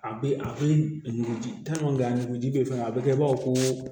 A bɛ a bɛ nuguji a nuguji bɛ yen fana a bɛ kɛ ba fɔ ko